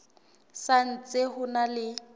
sa ntse ho na le